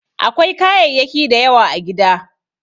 Akwai kayayyaki da yawa a gida.